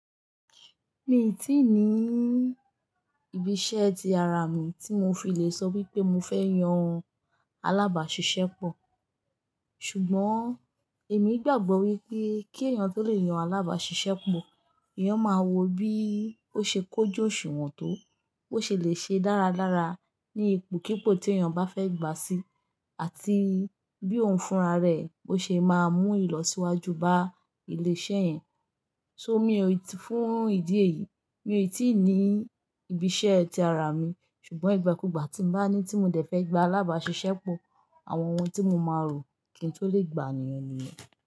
Mii tíì ní ibi iṣẹ́ ti ara mi tí mo fi lè sọ wípé mo fẹ́ yan alábàáṣiṣẹ́ pọ̀. Ṣùgbọ́n èmi gbàgbọ́ wípé kí èèyàn tó lè yan alábàáṣiṣẹ́ pọ̀, Eeyan máa wo bí ó ṣe kójú òṣùnwọ̀n tó, bó ṣe lè ṣe dáradára ní ipò kípò tí èèyàn bá fẹ́ gbà sí, àti bí òun fúnra rẹ̀, bó ṣe máa mú ìlọsíwájú bá ilé iṣẹ́ yẹn. So mi ò tí-- fún ìdí èyí, mi ò tíì ní ibi iṣẹ́ ti ara mi. Ṣùgbọ́n ìgbàkúgbà tí mo bá ní tí mo dẹ̀ fẹ́ gba alábàáṣiṣẹ́ pọ̀, àwọn ohun tí mo máa rò kí n tó lè gbàniyàn niyen.